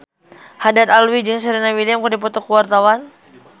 Haddad Alwi jeung Serena Williams keur dipoto ku wartawan